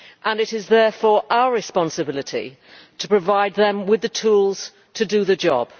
It is therefore our responsibility to provide them with the tools to do the job.